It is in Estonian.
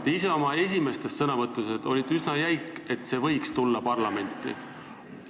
Te ise oma esimestes sõnavõttudes olite üsna jäik, rääkides sellest, kas see võiks tulla parlamenti.